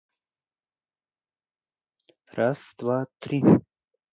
раз два три